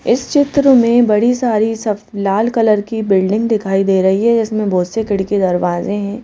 इस चित्र में बड़ी सारी सब लाल कलर की बिल्डिंग दिखाई दे रही है इसमें बहुत से खिड़की दरवाजे हैं।